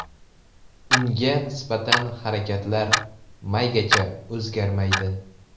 Unga nisbatan harakatlar maygacha o‘zgarmaydi.